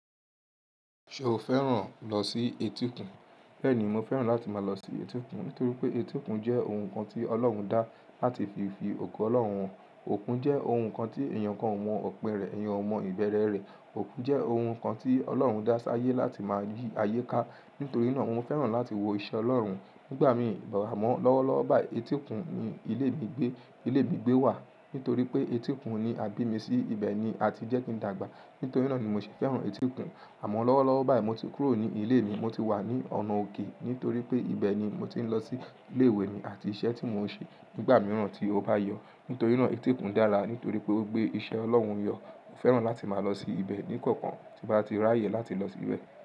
Ṣo fẹ́ràn lọ sí etí òkun? Bẹ́ẹ̀ni, mo fẹ́ràn láti máa lọ sí etí òkun nítorí pé etí òkun jẹ́ ohun kan tí Ọlọ́run dá láti fi fi ògo Ọlọ́run hàn. Òkun jẹ́ ohun kan tí èèyàn kan ò mọ ọ̀pin rẹ̀, èèyàn ò mọ ìbẹ̀rẹ̀ rẹ̀. Òkun jẹ́ ohun kan tí Ọlọ́run dá sáyé láti máa yí ayé ká. Nítorí náà, mo fẹ́ràn láti wo iṣẹ́ Ọlọ́run. Nígbà míì, àmọ̀ lọ́wọ́lọ́wọ́ báyìí etí òkun ni ilé mi gbé, ilé mi gbé wà. Nítorí pé etí òkun ni, abi mi sí ibẹ̀ ni a ti jẹ́ kí n dàgbà. Nítorí náà ni mo ṣe fẹ́ràn etí òkun. Àmọ́ lọ́wọ́lọ́wọ́ báyìí mo ti kúrò ní ilé mi, mo ti wà ní ọ̀nà òkè. Nítorí pé ibẹ̀ ni mo ti ń lọ sí ilé ìwé mi àti iṣẹ́ tí mo ń ṣe nígbà mìíràn tí ó bá yọ. Nítorí náà etí òkun dára. Nítorí pé ó gbé iṣẹ́ Ọlọ́run yọ. Mo fẹ́ràn láti máa lọ sí ibẹ̀ ní kọ̀ọ̀kan tí bá ti rí àyè láti lọ síbẹ̀.